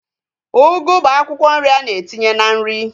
Ugu bụ akwụkwọ nri a na-etinye na nri